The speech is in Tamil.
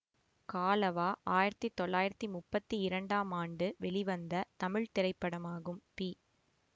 காலவா ஆயிரத்தி தொள்ளாயிரத்தி முப்பத்தி இரண்டாம் ஆண்டு வெளிவந்த தமிழ் திரைப்படமாகும் பி